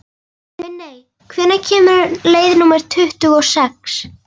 Minney, hvenær kemur leið númer tuttugu og sex?